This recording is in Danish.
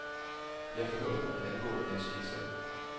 Jeg forhørte mig angående hans skitser.